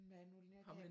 Hvad er det nu den